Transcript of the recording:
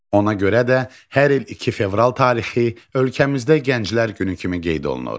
Ona görə də hər il 2 fevral tarixi ölkəmizdə Gənclər Günü kimi qeyd olunur.